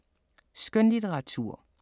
Skønlitteratur